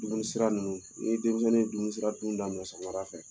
Dumunisira ninnu ni denmisɛnnin ye dumunisira dun daminɛ sɔgɔmada fɛ